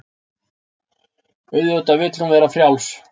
Auðvitað vill hún vera frjáls.